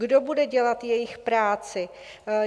Kdo bude dělat jejich práci?